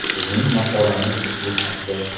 Bizning maqolamiz shu haqda.